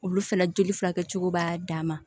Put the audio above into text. Olu fana joli furakɛcogo b'a dan ma